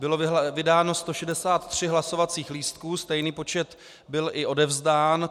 Bylo vydáno 163 hlasovacích lístků, stejný počet byl i odevzdán.